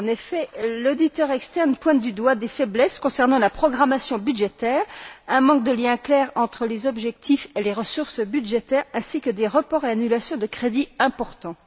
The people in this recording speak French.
En effet, l'auditeur externe pointe du doigt des faiblesses concernant la programmation budgétaire, un manque de lien clair entre les objectifs et les ressources budgétaires, ainsi que des reports et annulations de crédits importants.